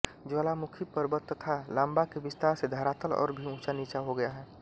ज्वालामुखी पर्वत तथा लाबा के विस्तार से धरातल और भी ऊँचा नीचा हो गया है